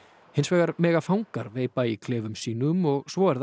hins vegar mega fangar veipa í klefum sínum og svo er það